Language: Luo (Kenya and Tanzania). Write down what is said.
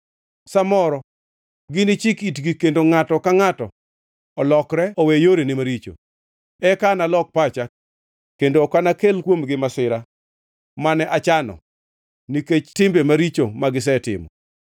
Sa moro ginichik itgi kendo ngʼato ka ngʼato olokre owe yorene maricho. Eka analok pacha kendo ok anakel kuomgi masira mane achano nikech timbe maricho magisetimo.